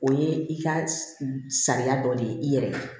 O ye i ka sariya dɔ de ye i yɛrɛ ye